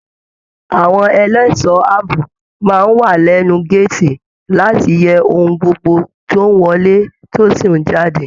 Àwọn ẹlẹṣọ ààbò máa n wà lẹnu gàátí láti yẹ ohùn gbogbo tó n wọlé tó sì n jáde.